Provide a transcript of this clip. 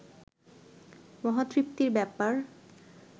মহা তৃপ্তির ব্যাপার